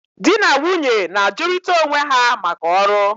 di na nwunye na-ajụrịta onwe ha maka ọrụ.